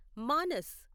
Manas